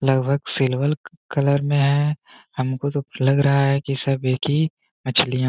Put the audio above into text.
लगभग silver colour में है हमको तो लग रहा है कि सब एक ही मछलियां --